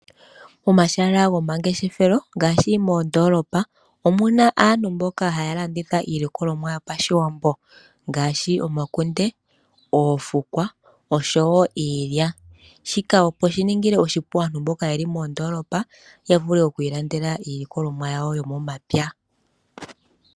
Omashala gomangeshefelo ngaashi moondoolopa omuna aantu mboka haya landitha iilikolomwa yopashiwambo. Ngaashi omakunde, oofukwa oshowo iilya, shika opo shiningile aantu mboka yeli mondoolopa yavule oku ilandela iilikolomwa yawo yomomapya.